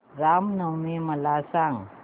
राम नवमी मला सांग